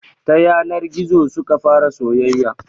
Ta yanar gizo suka fara soyayya